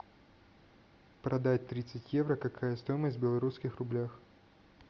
продать тридцать евро какая стоимость в белорусских рублях